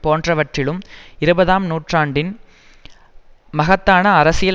போன்றவற்றிலும் இருபதாம் நூற்றாண்டின் மகத்தான அரசியல்